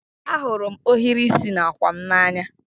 Ahụrụ m ohiri isi n'àkwà m n'anya